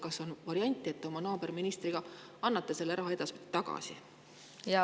Kas on variant, et te oma naaberministriga annate selle raha edaspidi tagasi?